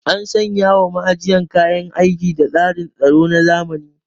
An sanya wa ma'ajiyar kayan aiki da tsarin tsaro na zamani.